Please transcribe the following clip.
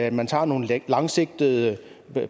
at man tager nogle langsigtede